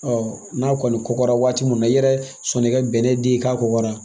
n'a kɔni kɔgɔra waati min na i yɛrɛ sɔnn'i ka bɛnɛ di k'a kɔgɔra